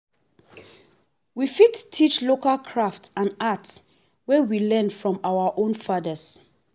we fit teach local craft and art wey we learn from our own fathers